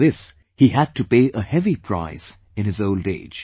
For this, he had to pay a heavy price in his old age